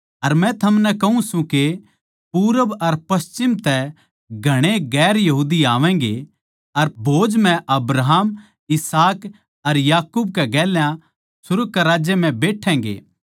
अर मै थमनै कहूँ सूं के पूरब अर पच्छिम तै घणेए गैर यहूदी आवैगें अर भोज म्ह अब्राहम अर इसहाक अर याकूब के गेल्या सुर्ग के राज्य म्ह बैठोगे